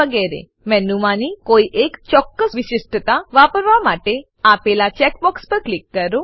વગેરે મેનુમાંની કોઈ એક ચોક્કસ વિશિષ્ટતા વાપરવા માટે આપેલા ચેક બોક્સ પર ક્લિક કરો